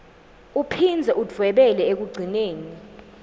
uphindze udvwebele ekugcineni